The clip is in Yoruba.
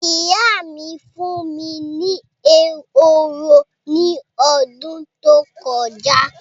Ìyá mí fún mí ní ehoro ní ọdún tó kọjá